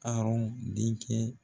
denkɛ.